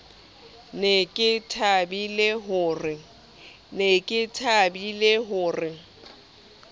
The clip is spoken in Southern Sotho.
ne ke thabile ho re